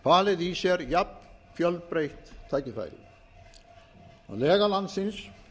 falið í sér jafnfjölbreytt tækifæri að lega landsins